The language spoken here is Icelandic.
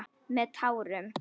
Með tárum.